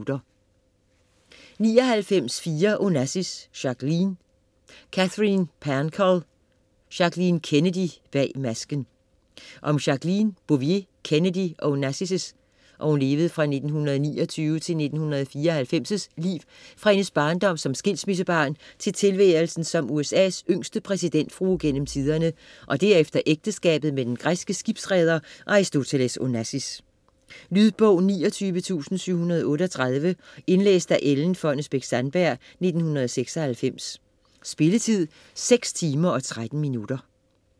99.4 Onassis, Jacqueline Pancol, Katherine: Jackie Kennedy - bag masken Om Jacqueline Bouvier Kennedy Onassis' (1929-1994) liv fra hendes barndom som skilsmissebarn til tilværelsen som USAs yngste præsidentfrue gennem tiderne og derefter ægteskabet med den græske skibsreder Aristoteles Onassis. Lydbog 29738 Indlæst af Ellen Fonnesbech-Sandberg, 1996. Spilletid: 6 timer, 13 minutter.